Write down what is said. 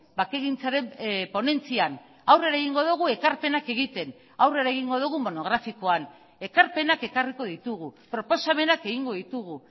bakegintzaren ponentzian aurrera egingo dugu ekarpenak egiten aurrera egingo dugu monografikoan ekarpenak ekarriko ditugu proposamenak egingo ditugu